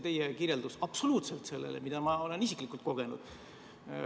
Teie kirjeldus ei vasta absoluutselt sellele, mida ma olen isiklikult kogenud.